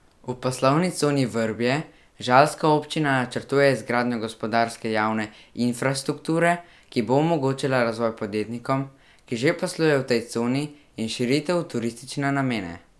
V poslovni coni Vrbje žalska občina načrtuje izgradnjo gospodarske javne infrastrukture, ki bo omogočila razvoj podjetnikom, ki že poslujejo v tej coni, in širitev v turistične namene.